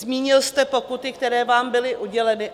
Zmínil jste pokuty, které vám byly uděleny.